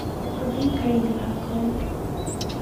рубин каира открой